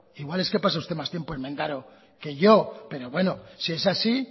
igual es que pasa usted más tiempo en mendaro que yo pero bueno si es así